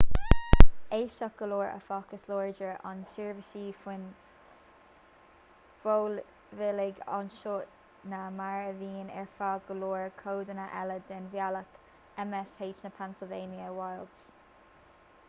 aisteach go leor áfach is láidre an tseirbhís fóin mhóibíligh anseo ná mar a bhíonn ar feadh go leor codanna eile den bhealach m.sh na pennsylvania wilds